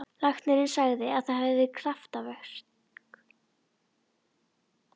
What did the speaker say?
Læknirinn sagði að það hefði verið kraftaverk.